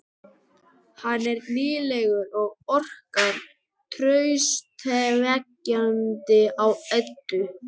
Hann er nýlegur og orkar traustvekjandi á Eddu.